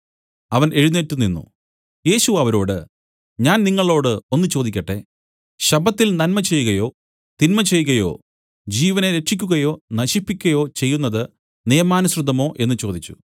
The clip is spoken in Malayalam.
അവൻ എഴുന്നേറ്റ് നിന്നു യേശു അവരോട് ഞാൻ നിങ്ങളോടു ഒന്ന് ചോദിക്കട്ടെ ശബ്ബത്തിൽ നന്മ ചെയ്കയോ തിന്മചെയ്കയോ ജീവനെ രക്ഷിയ്ക്കുകയോ നശിപ്പിക്കയോ ചെയ്യുന്നത് നിയമാനുസൃതമോ എന്നു ചോദിച്ചു